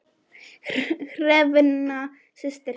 Hrefna systir.